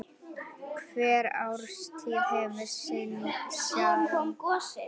Hver árstíð hefur sinn sjarma.